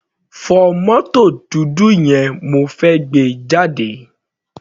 Fọ mótò dúdú yẹn, mo fẹ́ gbé e jáde.